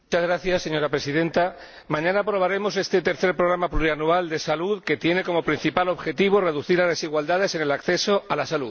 Señora Presidenta, mañana aprobaremos este tercer programa plurianual de salud, que tiene como principal objetivo reducir las desigualdades en el acceso a la salud.